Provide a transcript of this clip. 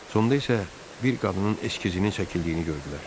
Sonda isə bir qadının eskizini çəkildiyini gördülər.